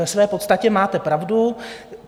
Ve své podstatě máte pravdu.